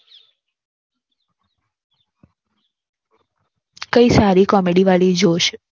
કઈ સારી Comedy વાળી